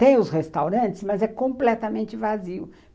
Tem os restaurantes, mas é completamente vazio.